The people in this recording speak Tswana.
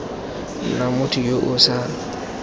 nna motho yo o sa